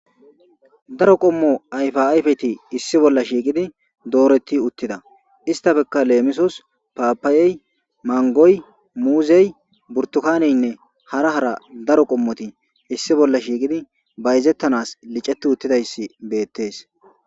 Daro qomo ayifa ayifeti issi bola shiiqidi doreti utida istapeka leemisos papay mangoy muzay buritukanenne hara hara daro qomoti issi bola shiiqidi bayizetanas licetiutidayisi betes.